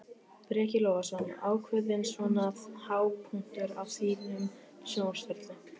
Breki Logason: Ákveðinn svona hápunktur á þínum sjónvarpsferli?